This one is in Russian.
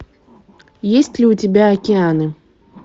есть ли у тебя океаны